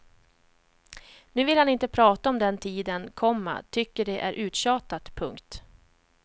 Nu vill han inte prata om den tiden, komma tycker att det är uttjatat. punkt